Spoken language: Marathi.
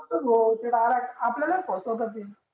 भो ते डायरेक्ट आपल्याला फसवती ती